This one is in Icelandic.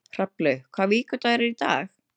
Hrafnlaug, hvaða vikudagur er í dag?